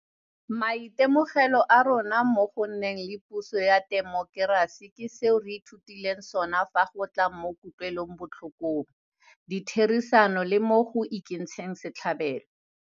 Maitemogelo a rona mo go nneng le puso ya temokerasi ke seo re ithutileng sona fa go tla mo kutlwelobotlhokong, ditherisanong le mo go ikentsheng setlhabelo.